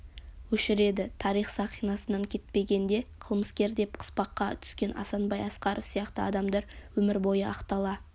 өшіреді тарих сахынасынан кетпегенде қылмыскер деп қыспаққа түскен асанбай асқаров сияқты адамдар өмір бойы ақтала